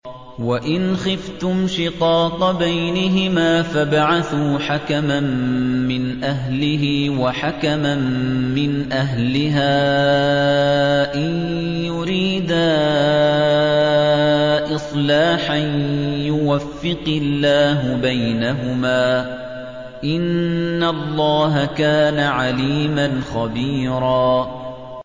وَإِنْ خِفْتُمْ شِقَاقَ بَيْنِهِمَا فَابْعَثُوا حَكَمًا مِّنْ أَهْلِهِ وَحَكَمًا مِّنْ أَهْلِهَا إِن يُرِيدَا إِصْلَاحًا يُوَفِّقِ اللَّهُ بَيْنَهُمَا ۗ إِنَّ اللَّهَ كَانَ عَلِيمًا خَبِيرًا